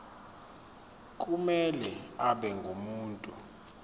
kumele abe ngumuntu